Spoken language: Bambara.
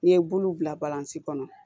N'i ye bulu bila baranisi kɔnɔ